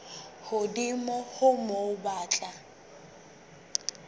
hodimo ho moo ba tla